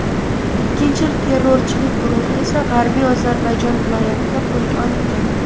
Ikkinchi terrorchilik guruhi esa G‘arbiy Ozarbayjon viloyatida qo‘lga olingan.